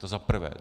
To za prvé.